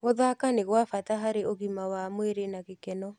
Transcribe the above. Gũthaka nĩ gwa bata harĩ ũgima wa mwĩrĩ na gĩkeno.